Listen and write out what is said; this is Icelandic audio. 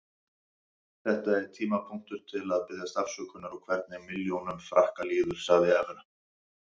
Þetta er tímapunktur til að biðjast afsökunar og hvernig milljónum Frakka líður, sagði Evra.